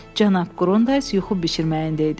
Cənab Qrundays yuxu bişirməyində idi.